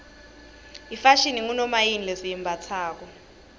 ifashini ngunomayini lesiyimbatsalo